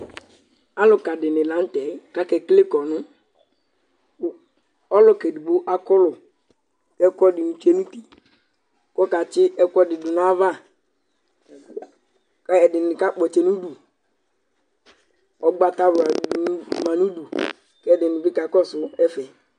Alʋka dini lan'tɛ k'akekele kɔnʋ Ɔlʋk'edigbo akɔlʋ k'ɛkʋɛdini tsue n'uti k'ɔkatsi ɛkʋɛdi n'ayava, k'ɛdini k'akpɔtsɛ n'udu Ʋgbatawani ma n'udu, k'ɛdini bi k'akɔsʋ ɛva